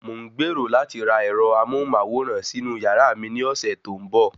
Mò ń gbèrò láti ra ẹ̀rọ amóhùnmáwòrán sínú yàrá mi ní ọ̀sẹ̀ tó ń bọ̀